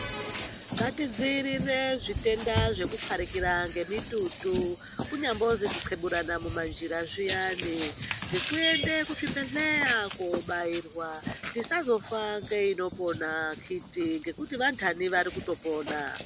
Ngatidziirire zvitenda zvekupharikira ngemitutu, kunyambozi kuxeburana mumanjira zviyani ,ngekuende kuzvibhedhleya kobairwa. Tisazofa ngeinopona ,akhiti ngekuti vantani vari kutopona.